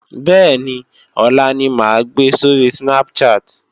Bẹ́ẹ̀ni ọlá ni máa gbe sóri Snapchat